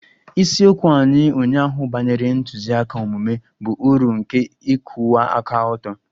Isiokwu anyị ụnyaahụ banyere ntụziaka omume bụ uru nke ịkwụwa aka ọtọ